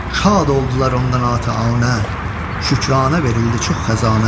Şad oldular ondan atəanə, şükrana verildi çox xəzanə.